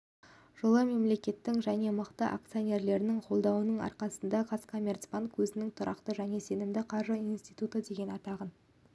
жылы мемлекеттің және мықты акционерлерінің қолдауының арқасында қазкоммерцбанк өзінің тұрақты және сенімді қаржы институты деген атағын